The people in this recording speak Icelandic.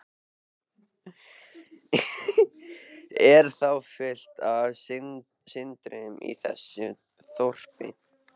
Er þá fullt af syndurum í þessu þorpi?